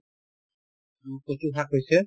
উম, কচু শাক হৈছে